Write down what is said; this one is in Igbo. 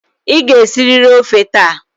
Ị ga-esiriri ọfe taa!